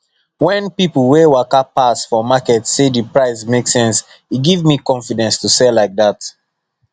when people wey waka pass for market say the price make sense e give me confidence to sell like that